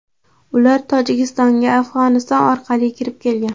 Ular Tojikistonga Afg‘oniston orqali kirib kelgan.